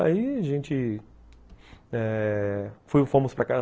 Aí a gente eh fui fomos para